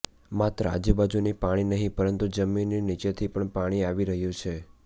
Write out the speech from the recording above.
માત્ર આજુબાજુની પાણી નહીં પરંતુ જમીનની નીચેથી પણ પાણી આવી રહ્યું છે